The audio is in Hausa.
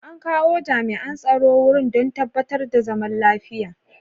An kawo jami'an tsaro wurin don tabbatar da zaman lafiya.